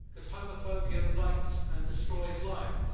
Homophobia blights and destroys lives